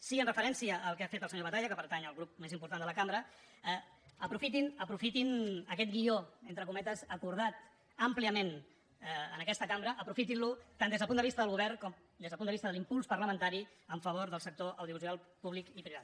sí en referència al que ha fet el senyor batalla que pertany al grup més important de la cambra aprofitin aquest guió entre cometes acordat àmpliament en aquesta cambra aprofitin lo tant des del punt de vista del govern com des del punt de vista de l’impuls parlamentari a favor del sector audiovisual públic i privat